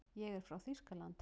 Ég er frá Þýskalandi.